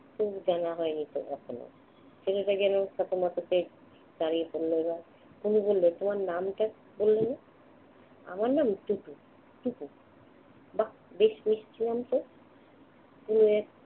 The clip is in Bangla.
তো জানা হয়নি তো এখনো। ছেলেটা যেন কাচুমাচু করে দাঁড়িয়ে পড়ল এবার। তনু বলল, তোমার নামটা বললে না? আমার নাম টুটু। টুক বাহ্! বেশ মিষ্টি নামতো। তনু এক